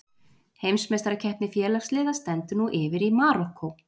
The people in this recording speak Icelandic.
Heimsmeistarakeppni félagsliða stendur nú yfir í Marokkó.